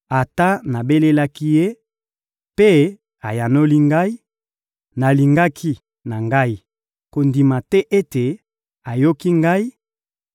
Ata nabelelaki Ye, mpe ayanoli ngai, nalingaki na ngai kondima te ete ayoki ngai,